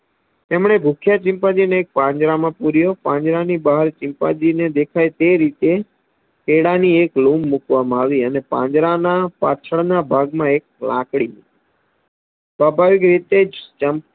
તેમને ભૂખ્યા ચિમ્પાન્જીને પાંદડા માં પૂર્યો પાંજરાની બહાર ચિમ્પાન્જીને દેખાય તે રીતે કેળાની એક લૂમ મુકવામાં આવી અને પાંજરા ના પાછળ ના ભાગ માં એક લાકડી મૂકી સવાભાવીક રીતે જ ચમ